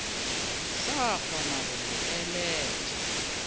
sa kgona go mo eleletša